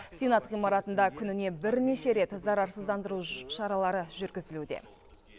сенат ғимаратында күніне бірнеше рет зарарсыздандыру шаралары жүргізілуде